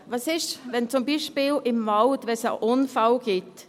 Was ist, wenn es zum Beispiel im Wald einen Unfall gibt?